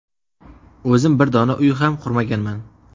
O‘zim bir dona uy ham qurmaganman.